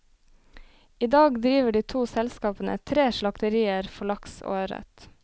I dag driver de to selskapene tre slakterier for laks og ørret.